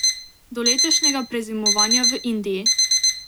Do letošnjega prezimovanja v Indiji.